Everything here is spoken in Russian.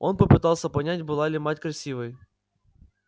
он попытался понять была ли мать красивой